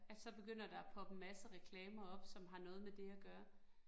At så begynder der at poppe en masse reklamer op, som har noget med det at gøre